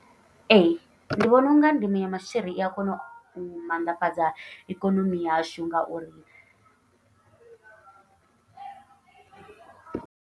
Ee ndi vhona unga ndimo ya maswiri ia kona u mannḓafhadza ikonomi yashu ngauri.